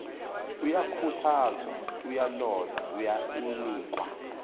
uyakhuthazwa uyalolwa unikwa